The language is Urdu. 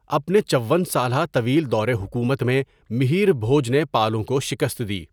اپنے چون سالہ طویل دور حکومت میں، مِہِیر بھوج نے پالوں کو شکست دی.